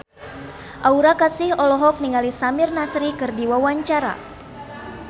Aura Kasih olohok ningali Samir Nasri keur diwawancara